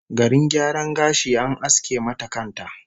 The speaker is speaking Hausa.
Garin gyaran gashi, an aske mata kan ta!